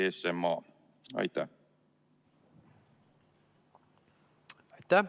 Aitäh!